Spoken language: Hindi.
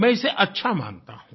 मैं इसे अच्छा मानता हूँ